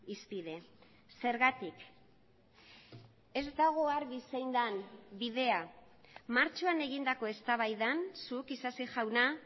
hizpide zergatik ez dago argi zein den bidea martxoan egindako eztabaidan zuk isasi jauna